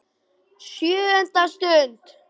SJÖUNDA STUND